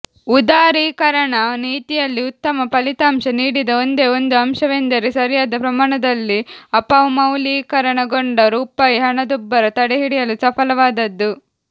ಉದಾರೀಕರಣ ನೀತಿಯಲ್ಲಿ ಉತ್ತಮ ಫಲಿತಾಂಶ ನೀಡಿದ ಒಂದೇ ಒಂದು ಅಂಶವೆಂದರೆ ಸರಿಯಾದ ಪ್ರಮಾಣದಲ್ಲಿ ಅಪಮೌಲ್ಯೀಕರಣಗೊಂಡ ರೂಪಾಯಿ ಹಣದುಬ್ಬರ ತಡೆಹಿಡಿಯಲು ಸಫಲವಾದದ್ದು